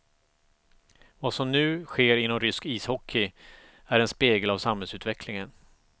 Vad som nu sker inom rysk ishockey, är en spegel av samhällsutvecklingen.